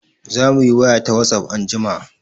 Zamu yi waya ta Whatsapp anjima.